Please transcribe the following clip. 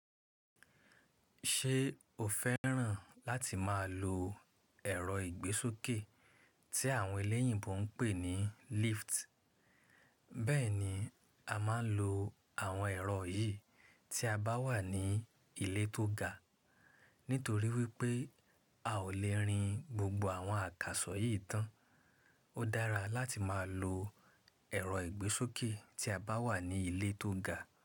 Ṣé o fẹ́ràn láti máa lo ẹ̀rọ ìgbésókè tí àwọn eléyìíbo ń pè ní lift? Bẹ́ẹ̀ni, a máa ń lo àwọn ẹ̀rọ yìí tí a bá wà ní ilé tó ga. Nítorí wípé a ò lè rin gbogbo àwọn àkàsọ̀ yìí tán, ó dára láti máa lo ẹ̀rọ ìgbésókè tí a bá wà ní ilé tó ga.